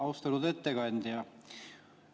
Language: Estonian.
Austatud ettekandja!